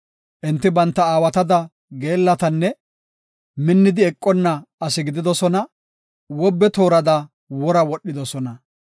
Enti banta aawatada geellatanne minnidi eqonna asi gididosona; wobe toorada wora wodhidosona.